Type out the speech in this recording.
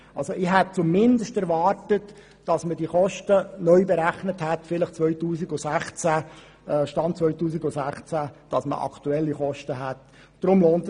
Ich hätte zumindest erwartet, dass die Kosten mit dem Stand 2016 neu berechnet worden wären, sodass man über aktuelle Kostenangaben verfügt.